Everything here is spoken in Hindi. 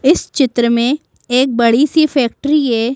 इस चित्र में एक बड़ी सी फैक्ट्री है।